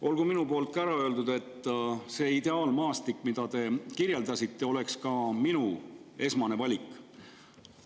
Olgu minugi poolt ära öeldud, et see ideaalmaastik, mida te kirjeldasite, oleks ka minu esmane valik.